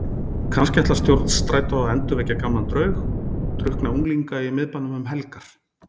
Kannski ætlar stjórn Strætó að endurvekja gamlan draug, drukkna unglinga í miðbænum um helgar?